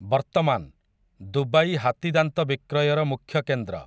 ବର୍ତ୍ତମାନ୍, ଦୁବାଇ ହାତୀଦାନ୍ତ ବିକ୍ରୟର ମୁଖ୍ୟକେନ୍ଦ୍ର ।